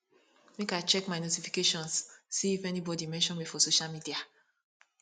make i check my notifications see if anybodi mention me for social media